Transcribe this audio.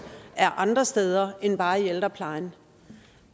er andre steder end bare i ældreplejen